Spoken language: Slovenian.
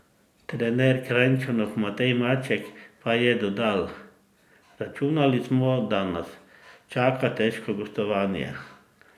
Trener Kranjčanov Matej Maček pa je dodal: "Računali smo, da nas čaka težko gostovanje.